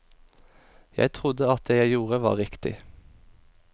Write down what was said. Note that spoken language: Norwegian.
Jeg trodde at det jeg gjorde var riktig.